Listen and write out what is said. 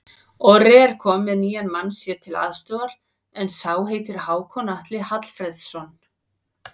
Orri er kominn með nýjan mann sér til aðstoðar, en sá heitir Hákon Atli Hallfreðsson.